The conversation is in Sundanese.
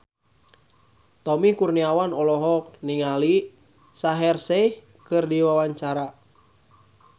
Tommy Kurniawan olohok ningali Shaheer Sheikh keur diwawancara